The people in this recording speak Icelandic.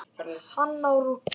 Hanna og Rúnar.